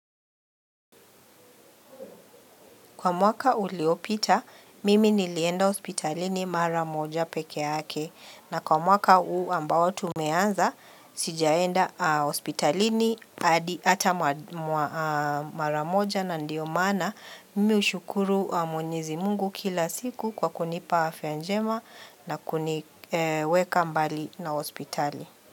Kwa mwaka uliopita, mimi nilienda ospitalini maramoja peke yake. Na kwa mwaka huu ambao tumeanza, sijaenda ospitalini hata maramoja na ndio maana. Mimi ushukuru mwenyezi mungu kila siku kwa kunipa afyajema na kuniweka mbali na ospitali.